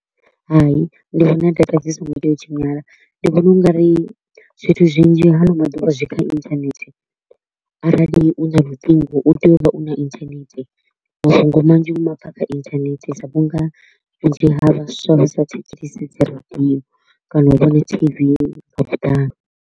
Hai, ndi vhona data dzi so ngo tea u tshinyala, ndi vhona u nga ri zwithu zwinzhi haano maḓuvha zwi kha internet. Arali u na luṱingo u tea u vha u na internet, mafhungo manzhi u ma pfa a kha internet sa vhu nga vhunzhi ha vhaswa vha sa thetshelesi dzi radio kana u vhona tv nga vhuḓalo.